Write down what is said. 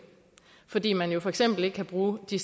fordi man jo for eksempel ikke kan bruge de